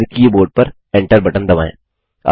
और फिर कीबोर्ड पर Enter बटन दबाएँ